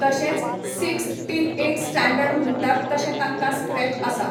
तशेंच sixth till eighth standard म्हणटात तशें तांकां स्क्रॅच आसा.